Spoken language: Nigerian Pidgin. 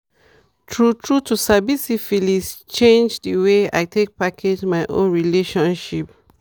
true true to sabi syphilis change the way i take package my own relationship